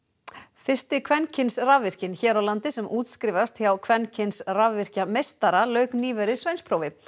fyrsti kvenkyns rafvirkinn hér á landi sem útskrifast hjá kvenkyns rafvirkjameistara lauk nýverið sveinsprófi